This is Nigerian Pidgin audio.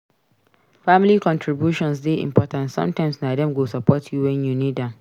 Family contributions dey important; sometimes na dem go support you wen you need am.